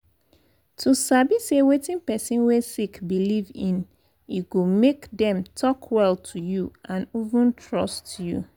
to sabi say wetin person wey sick believe in e go make them talk well to you and even trust you.